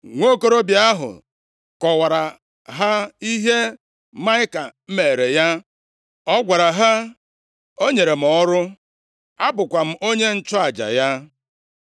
Nwokorobịa ahụ kọwara ha ihe Maịka meere ya. Ọ gwara ha, “O nyere m ọrụ, abụkwa m onye nchụaja ya.”